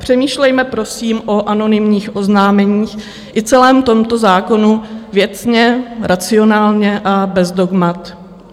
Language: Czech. Přemýšlejme prosím o anonymních oznámeních i celém tomto zákonu věcně, racionálně a bez dogmat.